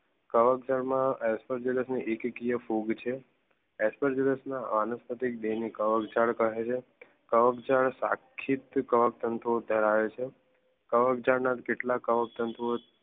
કવક જાળ મા એસઓજીનિક એકકિયા ફૂગ છે એસઓજીનિક વાનસ્પતિક કવક જાળ કહે છે. કવક જાળ સખિત કવક તંતુઓ ધરાવે છે. કવક જાળ જેટલાક કવક તંતુઓ